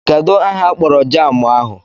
Kedụ aha akpọrọ jaamụ ahụ?